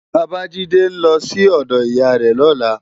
Babajide n lò si òdò iyá rè lòlá